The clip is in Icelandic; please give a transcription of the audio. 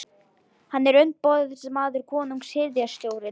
Hann er umboðsmaður konungs og hirðstjórans.